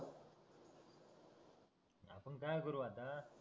आपण काय करू आता